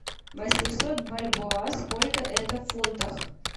восемьсот бальбоа сколько это в фунтах